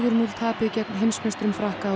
núll tapið gegn heimsmeisturum Frakka á